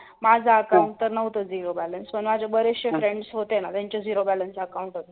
माझ account तर नव्हत zero balance ओपन माझे बरेचशे friends होते ना त्याचं zero balance होत